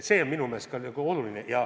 See on minu meelest ka oluline.